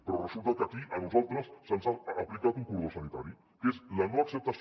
però resulta que aquí a nosaltres se’ns ha aplicat un cordó sanitari que és la no acceptació